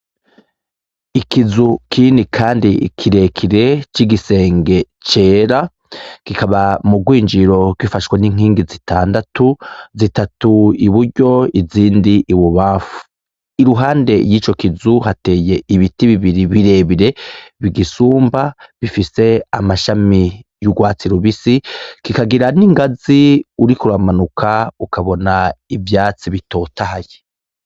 Ikizu kinini kandi kirekire c'igisenge cera gikaba mu rwinjiro gifashwe n'inkingi zitandatu zitatu i buryo izindi ibubafu i ruhande y'ico kizu hateye ibiti bibiri birebire bigisumba bifise amashami y'urwatsi rubisi kikagira n'ingazi uriko uramanuka ukabona ivyatsi bitotahaye.